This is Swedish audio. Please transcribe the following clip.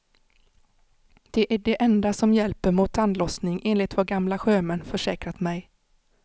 Det är det enda som hjälper mot tandlossning, enligt vad gamla sjömän försäkrat mig.